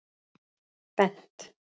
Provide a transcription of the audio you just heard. Bent